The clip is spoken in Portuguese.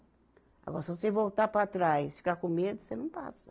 Agora, se você voltar para trás, ficar com medo, você não passa.